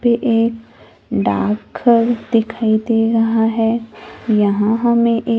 ये एक डाकघर दिखाई दे रहा है यहां हमें ये--